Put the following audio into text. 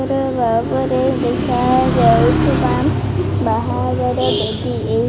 ଗୋଟେ ଆଗରେ ଦେଖା ଯାଉଥିବା ବାହାଘର ବେଦି ଏହି --